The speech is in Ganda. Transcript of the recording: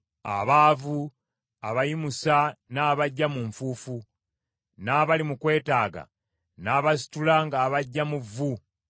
Abaavu abayimusa n’abaggya mu nfuufu; n’abali mu kwetaaga n’abasitula ng’abaggya mu vvu,